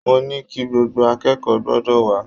Mo ní kí gbogbo akẹ́kọ̀ọ́ gbọ́dọ̀ wà á